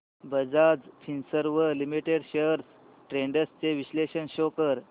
Bajaj Finserv limited shares trends चे विश्लेषण show कर